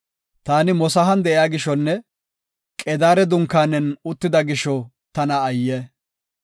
Ta Mosahan de7iya gishonne Qedaare dunkaanen uttida gisho tana ayye!